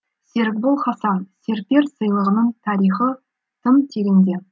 серікбол хасан серпер сыйлығының тарихы тың тереңде